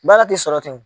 Baara tɛ sɔrɔ ten